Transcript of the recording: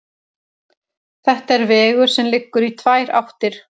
Þetta er vegur sem liggur í tvær áttir.